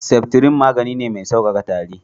Septrin magani ne mai sauƙaƙa tari.